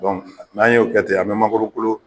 n'an y'o kɛ ten , an be mankoro kolo